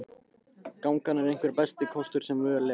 Gangan er einhver besti kostur sem völ er á.